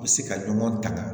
U bɛ se ka ɲɔgɔn tanga